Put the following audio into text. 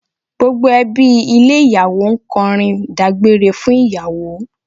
Gbogbo ẹbí ilé ìyàwó ń kọrin ìdágbére fún ìyàwó